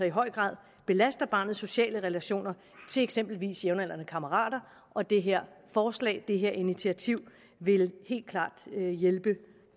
i høj grad belaster barnets sociale relationer til eksempelvis jævnaldrende kammerater og det her forslag det her initiativ vil helt klart hjælpe